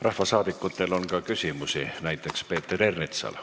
Rahvasaadikutel on ka küsimusi, näiteks Peeter Ernitsal.